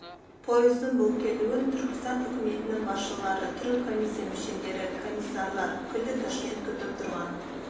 пойыздың бұл келуін түркістан үкіметінің басшылары түрік комиссия мүшелері комиссарлар күллі ташкент күтіп тұрған